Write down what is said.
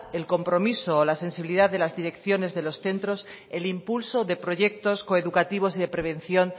el compromiso o la sensibilidad de las direcciones de los centros el impulso de proyectos coeducativos y de prevención